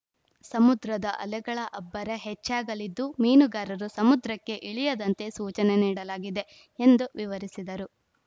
ಸಮುದ್ರದ ಅಲೆಗಳ ಅಬ್ಬರ ಹೆಚ್ಚಾಗಲಿದ್ದು ಮೀನುಗಾರರು ಸಮುದ್ರಕ್ಕೆ ಇಳಿಯದಂತೆ ಸೂಚನೆ ನೀಡಲಾಗಿದೆ ಎಂದು ವಿವರಿಸಿದರು